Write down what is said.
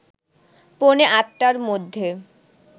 পৌনে ৮টার মধ্যে